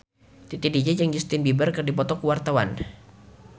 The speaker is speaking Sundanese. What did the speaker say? Titi DJ jeung Justin Beiber keur dipoto ku wartawan